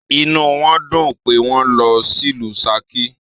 Inú wọn dùn pé wọn lọ sílù Saki